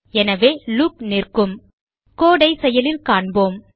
எனவே லூப் நிற்கும் code ஐ செயலில் பார்ப்போம்